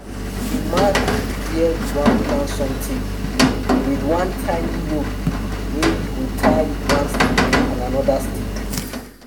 we dey mark where we wan plant somtin with one tiny rope wey we go tie one stick and anoda stick.